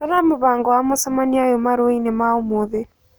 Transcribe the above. rora mũbango wa mũcemanio ũyũ marũa-inĩ ma ũmũthĩ